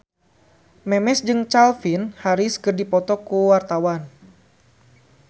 Memes jeung Calvin Harris keur dipoto ku wartawan